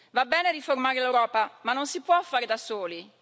Va bene riformare l'Europa, ma non si può fare da soli.